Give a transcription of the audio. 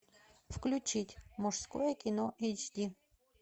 включить мужское кино эйч ди